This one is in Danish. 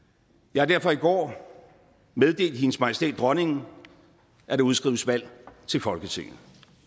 jeg har derfor i går meddelt hendes majestæt dronningen at der udskrives valg til folketinget